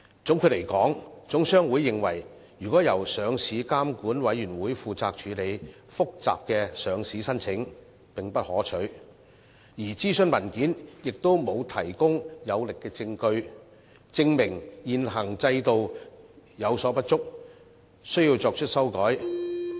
總括而言，香港總商會認為由上市監管委員會負責處理複雜的上市申請並不可取，而諮詢文件亦沒有提供有力證據，證明現行制度有所不足，需要作出修改。